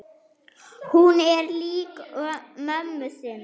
Hún er lík mömmu sinni.